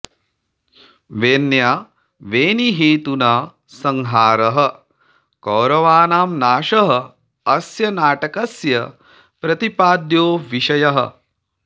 वेण्या वेणीहेतुना संहारः कौरवाणां नाशः अस्य नाटकस्य प्रतिपाद्यो विषयः